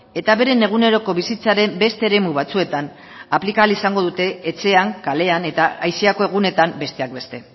eta beren eguneroko bizitzaren beste eremu batzuetan aplika izango dute etxean kalean eta aisiako egunetan besteak beste